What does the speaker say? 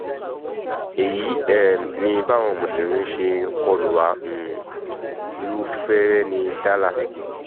èyí um ni báwọn mùsùlùmí ṣe kọ lù wá um -rúfèrèènì dàlà